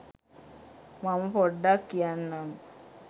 මම පොඩ්ඩක් කියන්නම්